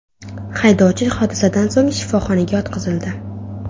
Haydovchi hodisadan so‘ng shifoxonaga yotqizildi.